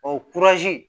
O